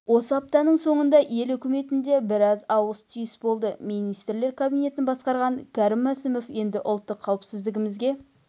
осы аптаның соңында ел үкіметінде біраз ауыс-түйіс болды министрлер кабинетін басқарған кәрім мәсімов енді ұлттық қауіпсіздігімізге